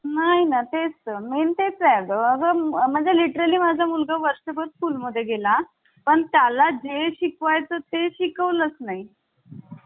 ना तेच मेन तेच आहे म्हणजे literally माझा मुलगा वर्षभर school मध्ये गेला पण त्याला जे शिकवतात ते शिकवलेच नाही